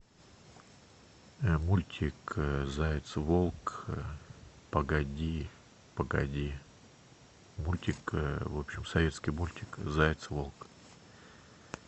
мультик заяц волк погоди погоди мультик в общем советский мультик заяц волк